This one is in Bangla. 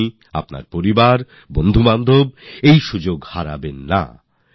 আপনি আপনার পরিবার আত্মীয়পরিজন আপনার সাথীরা এই সুযোগ ছাড়বেন না